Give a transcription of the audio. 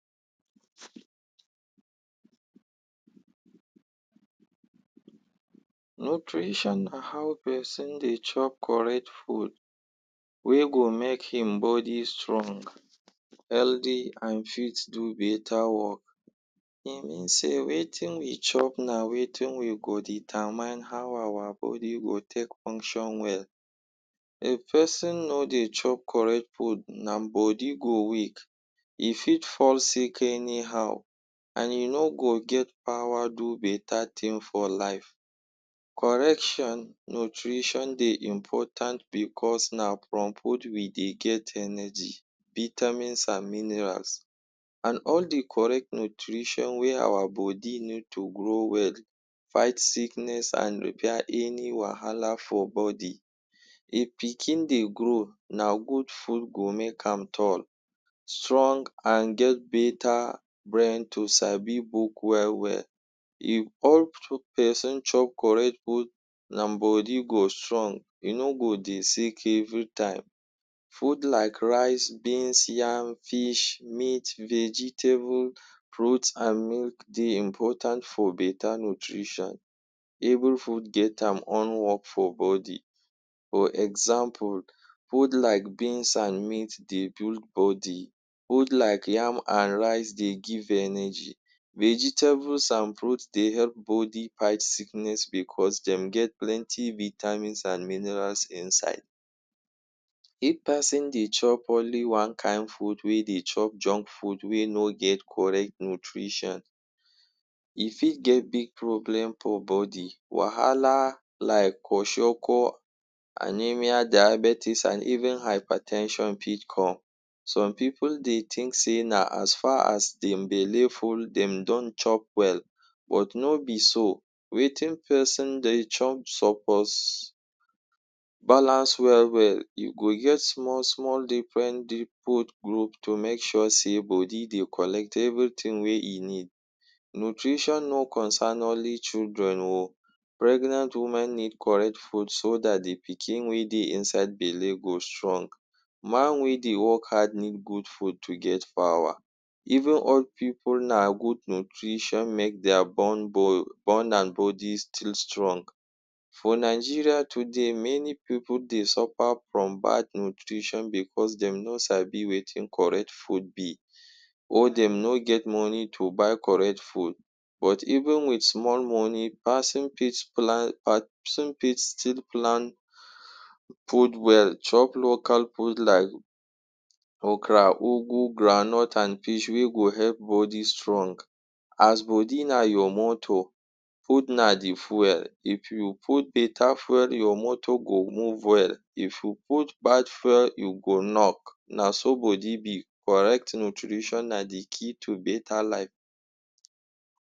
Nutrition na how peson dey chop correct food wey go make im body strong, healthy an fit do beta work. E mean sey wetin we chop na wetin wey go determine how awa body go take function well. If peson no dey chop correct food, nam body go weak, e fit fall sick anyhow, an e no get power do beta tin for life. Correction nutrition dey important becos na from food we dey get energy, vitamins, an minerals, an all the correct nutrition wey our bodi need to grow well, fight sickness, an repair any wahala for body. If pikin dey grow, na good food go make am tall, strong, an get beta brain to sabi book well-well. If peson chop correct food, nam body go strong, e no go dey sick every time. Food like rice, beans, yam, fish, meat, vegetable, fruit, an milk dey important for beta nutrition. Every food get am own work for body. For example, food like beans an meat dey build body. Food like yam an rice dey give energy. Vegetables an fruit dey help bodi fight sickness becos dem get plenty vitamins an minerals inside. If peson dey chop only one kain food wey dey chop junk food wey no get correct nutrition, e fit get big problem for body. Wahala like kwashiorkor, anaemia, diabetes an even hyper ten sion fit come. Some pipu dey think sey na as far as dem belle full dem don chop well, but no be so. Wetin peson dey chop suppose balance well well. You go get small-small different-different group to make sure sey body dey collect everything wey e need. Nutrition no concern only children oh. Pregnant women need correct food so dat the pikin wey dey inside belle go strong. Man wey dey work hard need good food to get power. Even old pipu, na good nutrition make dia bone bone an body still strong. For Nigeria today, many pipu dey suffer from bad nutrition becos dem no sabi wetin correct food be, or dem no get money to buy correct food. But even with small money, peson fit plan peson fit still plan food well chop local food like okra, ugu, groundnut an fish wey go help body strong. As body na your motor, food na the few.. If you put beta fwel, your motor go move well. If you put bad fwel, you go knock. Na so body be. Correct nutrition na the key to beta life.